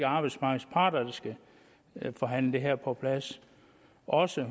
arbejdsmarkedets parter der skal forhandle det her på plads og også